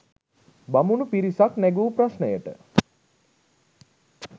බමුණු පිරිසක් නැඟූ ප්‍රශ්නයට